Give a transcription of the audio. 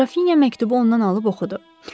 Qrafinya məktubu ondan alıb oxudu.